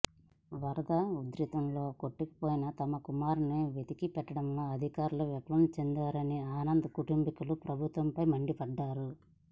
వరద ఉధృతిలో కొట్టుకపోయిన తమ కుమారుడిని వెతికి పెట్టడంలో అధికారులు విఫలం చెందారని ఆనంద్ కుటుంబీకులు ప్రభుత్వంపై మండిపడ్డారు